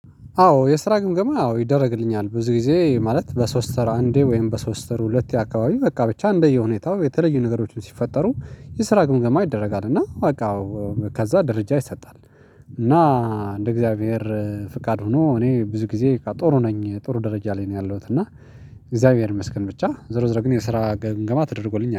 አዎ የስራ ግምገማ አዎ ይደረግልኛል ብዙ ጊዜ ማለት በሶስት ወር አንዴ ወይም በሶስት ወር ሁለቴ አካባቢ በቃ ብቻ እንደየሁኔታው የተለዩ ነገሮችን ሲፈጠሩ የስራ ግምገማ ይደረጋል እና በቃ አዎ ከዛ ደረጃ ይሰጣል። እንደ እግዚአብሔር ፍቃድ ሆኖ እኔ ብዙ ጊዜ ጥሩ ነኝ ጥሩ ደረጃ ላይ ነው ያለሁት እና እግዚአብሔር ይመስገን ብቻ ዞሮ ዞሮ ግን የስራ ግምገማ ተደርጎልኝ